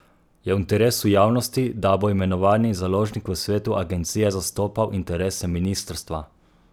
Je v interesu javnosti, da bo imenovani založnik v svetu agencije zastopal interese ministrstva?